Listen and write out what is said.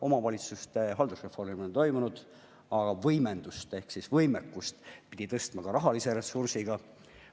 Omavalitsuste haldusreformi polnud toimunud, aga nende võimekust pidi tõstma ka rahalise ressursiga.